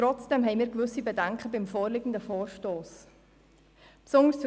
Trotzdem haben wir betreffend den vorliegenden Vorstoss gewisse Bedenken.